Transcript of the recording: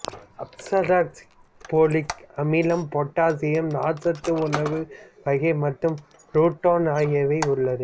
அஸ்பாரகஸில் folic அமிலம் potassium நார் சத்து உணவு வகை மற்றும் ரூட்டன் ஆகியவை உள்ளது